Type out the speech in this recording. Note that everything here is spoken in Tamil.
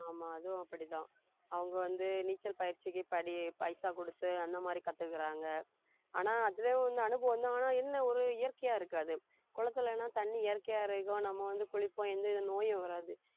ஆமா அதுவும் அப்படித்தான் அவங்க வந்து நீச்சல் பயிற்சிக்கு படி~ பைசா கொடுத்து அந்த மாதிரி கத்துக்கிறாங்க ஆனா அதுவே வந்து அனுபவம் தான் ஆனா என்ன ஒரு இயற்கையா இருக்காது குளத்திலன்னா தண்ணி இயற்கையா இருக்கும் நம்ம வந்து குளிப்போம் எந்தவித நோயும் வராது